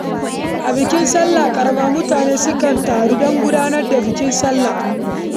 A bikin sallah ƙarama mutane sukan taru don gudanar da salloli da bukukuwan murna.